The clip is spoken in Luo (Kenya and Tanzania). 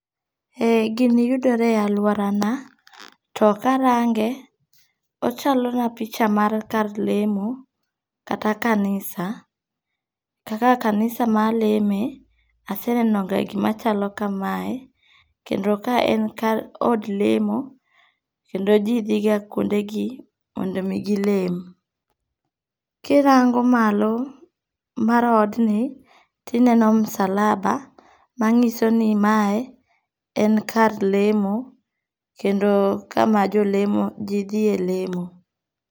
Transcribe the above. E gini yudore e aluorana to karange ochalo na picha mar kar lemo kata kanisa. Kaka kanisa maleme aseneno ga gima chalo kamae kendo ka en kar od lemo kendo jii dhi ga kuonde gi mondo mi gilem. Kirango malo mar odni tineno msalaba mang'iso ni mae en kar lemo kendo kama jolemo jii dhiye lemo.